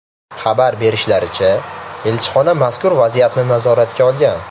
Xabar berishlaricha, elchixona mazkur vaziyatni nazoratga olgan.